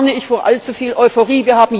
Deshalb warne ich vor allzu viel Euphorie.